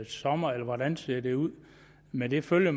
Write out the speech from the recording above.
sommeren eller hvordan ser det ud med det følger